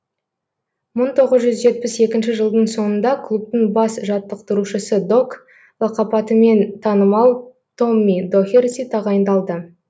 мың тоғыз жүз жетпіс екінші жылдың соңында клубтың бас жаттықтырушысы док лақапатымен танымал томми дохерти тағайындалды